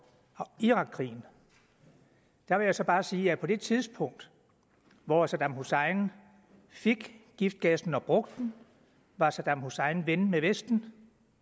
irakkrigen der vil jeg så bare sige at på det tidspunkt hvor saddam hussein fik giftgassen og brugte den var saddam hussein ven med vesten